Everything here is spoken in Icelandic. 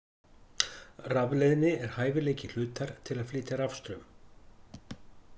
Rafleiðni er hæfileiki hlutar til að flytja rafstraum.